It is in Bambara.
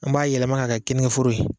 An b'a yɛlɛma ka kɛ keninge foro ye.